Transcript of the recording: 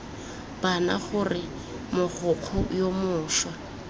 bana gore mogokgo yo mošwa